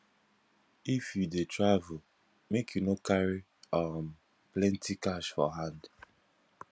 if you dey travel make you no carry um plenty cash for hand